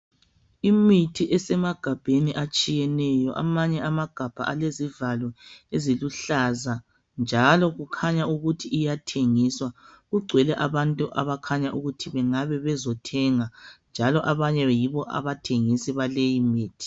Imithi esemagabheni atshiyeneyo amanye amagabha elezivalo eziluhlaza njalo kukhanya ukuthi iyathengiswa. Kugcwele abantu abakhanya ukuthi bengabe bezothenga njalo abanye yibo abathengisi baleyo mithi,